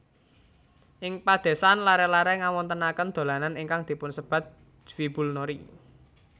Ing padesan laré laré ngawontenaken dolanan ingkang dipunsebat jwibulnori